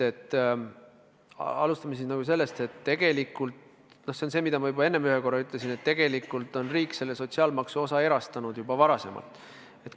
Alustame sellest, et tegelikult on – seda ma juba enne ühe korra ütlesin – riik selle sotsiaalmaksu osa erastanud juba varem.